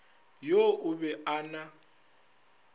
yo o be a na